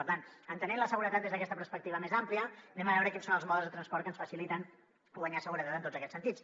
per tant entenent la seguretat des d’aquesta perspectiva més àmplia anem a veure quins són els modes de transport que ens faciliten guanyar seguretat en tots aquests sentits